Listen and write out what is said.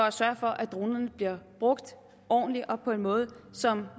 at sørge for at dronerne bliver brugt ordentligt og på en måde som